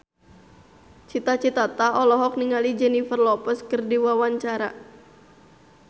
Cita Citata olohok ningali Jennifer Lopez keur diwawancara